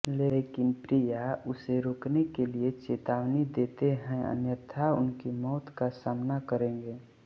लेकिन प्रिया उसे रोकने के लिए चेतावनी देते हैं अन्यथा उनकी मौत का सामना करेंगे